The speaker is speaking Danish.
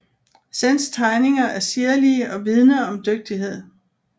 Senns tegninger er sirlige og vidne om dygtighed